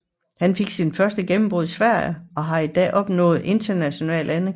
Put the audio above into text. Han fik sit første gennembrud i Sverige og har i dag opnået international anerkendelse